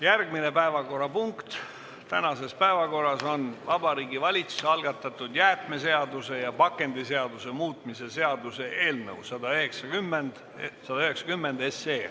Järgmine päevakorrapunkt on Vabariigi Valitsuse algatatud jäätmeseaduse ja pakendiseaduse muutmise seaduse eelnõu 190.